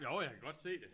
Jo jeg kan godt se det